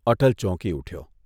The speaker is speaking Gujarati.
અટલ ચોંકી ઊઠ્યો.